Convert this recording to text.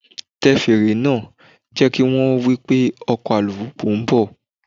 Tẹ fèrè náà, jẹ́ kí wón mọ̀ wípé ọkọ̀ alùpùpù ń bọ̀.